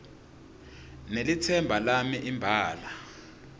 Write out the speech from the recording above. nelitsemba lami imbala